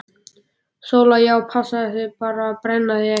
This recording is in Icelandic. SÓLA: Já, passaðu þig bara að brenna þig ekki!